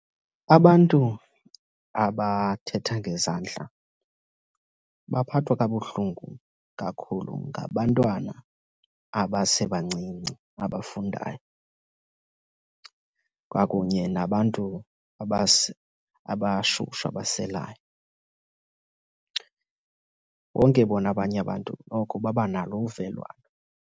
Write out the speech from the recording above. Abantu abathetha ngezandla baphathwa kabuhlungu kakhulu ngabantwana abasebancinci abafundayo kwakunye nabantu abashushu, abaselayo. Bonke bona abanye abantu noko babanalo uvelwano.